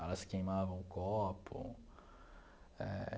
Elas queimavam o copo eh.